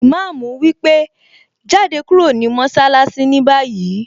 Ìmáàmù wípé 'Jáde kúrò ní mọṣálásí ní báyìí!